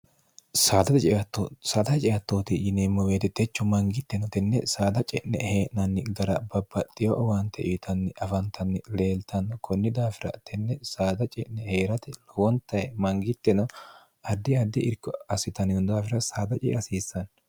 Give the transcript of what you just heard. dsaada haceattooti yineemmo weetettechu mangitteno tenne saada ce'ne hee'nanni gara babbaxxiyo owaante iwitanni afantanni leeltanno kunni daafira tenne saada ce'ne hee'rate lowontaye mangitteno addi addi irko assitannino daafira saada cee hasiissanni